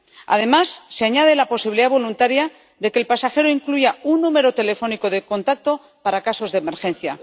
Además, se añade la posibilidad voluntaria de que el pasajero incluyq un número telefónico de contacto para casos de emergencia.